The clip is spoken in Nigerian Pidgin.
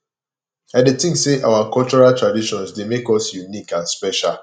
i dey think say our cultural traditions dey make us unique and special